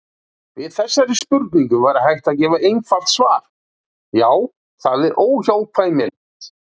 Við þessari spurningu væri hægt að gefa einfalt svar: Já, það er óhjákvæmilegt.